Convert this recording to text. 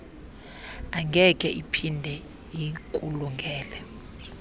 angeke iphinde ikulungele